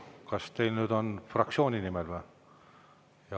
Kas teil on fraktsiooni nimel?